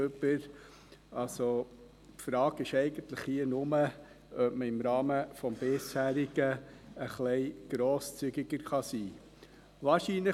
Also ist die Frage hier eigentlich nur, ob man im Rahmen des Bisherigen etwas grosszügiger sein kann.